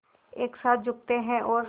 एक साथ झुकते हैं और